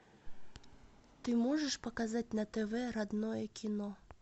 ты можешь показать на тв родное кино